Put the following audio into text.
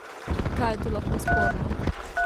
Kaj je tu lahko sporno?